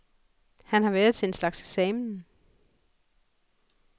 Han har været til en slags eksamen.